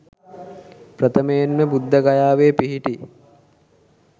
ප්‍රථමයෙන් ම බුද්ධගයාවේ පිහිටි